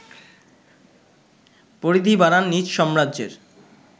পরিধি বাড়ান নিজ সাম্রাজ্যের